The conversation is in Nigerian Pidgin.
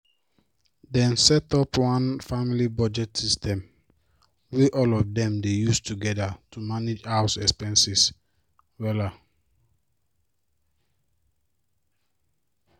dem set up one family budget system wey all of dem dey use together to manage house expenses wella